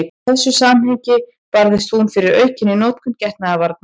Í þessu samhengi barðist hún fyrir aukinni notkun getnaðarvarna.